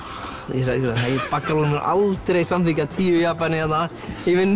ég sagði nei baggalútur mun aldrei samþykkja tíu Japani hérna í vinnu